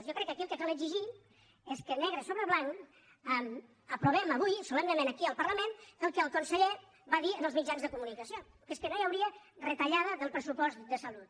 jo crec que aquí el que cal exigir és que negre sobre blanc aprovem avui solemnement aquí al parlament el que el conseller va dir en els mitjans de comunicació que és que no hi hauria retallada del pressupost de salut